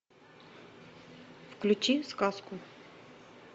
включи сказку